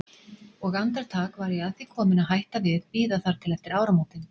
Og andartak var ég að því komin að hætta við, bíða þar til eftir áramótin.